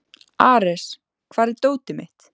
Ares, hvar er dótið mitt?